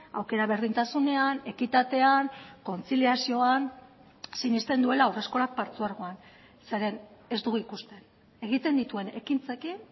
aukera berdintasunean ekitatean kontziliazioan sinesten duela haurreskolak partzuergoan zeren ez dugu ikusten egiten dituen ekintzekin